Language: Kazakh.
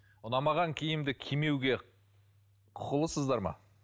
ұнамаған киімді кимегуге құқылысыздар ма